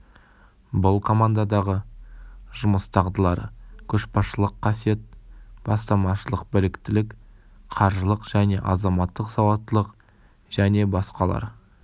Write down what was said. бұл командадағы жұмыс дағдылары көшбасшылық қасиет бастамашылық біліктілік қаржылық және азаматтық сауаттылық және басқалар